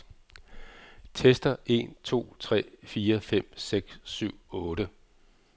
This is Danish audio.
Tester en to tre fire fem seks syv otte.